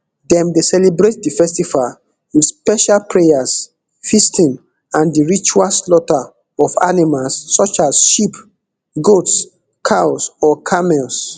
dem dey celebrate di festival wit special prayers feasting and di ritual slaughter of animals such as sheep goats cows or camels